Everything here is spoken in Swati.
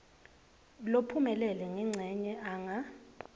lophumelele ngencenye anga